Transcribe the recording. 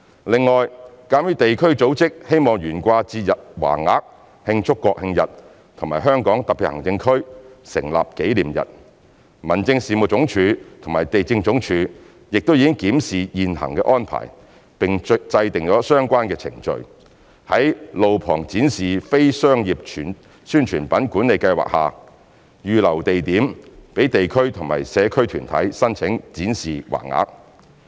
另外，鑒於地區組織希望懸掛節日橫額慶祝國慶日及香港特別行政區成立紀念日，民政事務總署與地政總署亦已檢視現行安排並制訂相關程序，在路旁展示非商業宣傳品管理計劃下，預留地點讓地區或社區團體申請展示橫額。